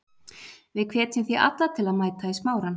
Við hvetjum því alla til að mæta í Smárann.